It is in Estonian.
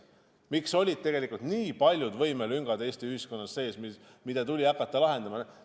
Miks olid Eesti ühiskonnas tegelikult nii paljud võimelüngad, mida tuli hakata täitma?